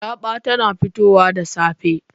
Raba tana fitowa da safe.